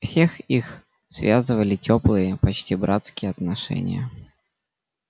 всех их связывали тёплые почти братские отношения